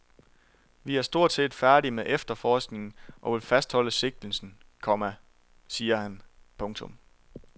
Vi er stort set færdige med efterforskningen og vil fastholde sigtelsen, komma siger han. punktum